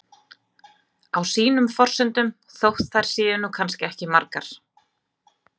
Á sínum forsendum, þótt þær séu nú kannski ekki margar.